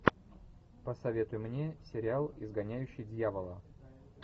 посоветуй мне сериал изгоняющий дьявола